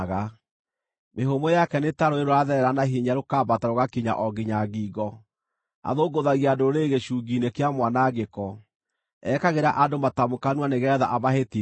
Mĩhũmũ yake nĩ ta rũũĩ rũratherera na hinya rũkambata rũgakinya o nginya ngingo. Athũngũthagia ndũrĩrĩ gĩcungi-inĩ kĩa mwanangĩko; ekagĩra andũ matamu kanua nĩgeetha amahĩtithie.